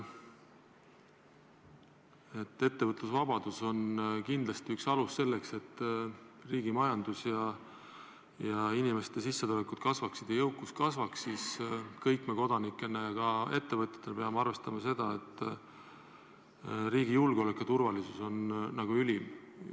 Kuigi ettevõtlusvabadus on kindlasti üks alus selleks, et riigi majandus ja inimeste sissetulekud kasvaksid ja jõukus kasvaks, me kõik kodanikena ja ka ettevõtjatena peame arvestama seda, et riigi julgeolek ja turvalisus on ülim.